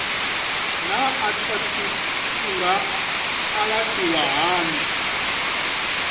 naa arthritis i nga alafhiwa hani